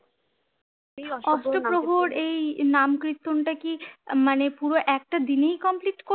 অষ্টপ্রহর এই নাম কীর্তনটাকি মানে পুরো একটা দিনেই complete কর